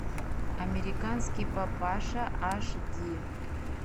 американский папаша аш ди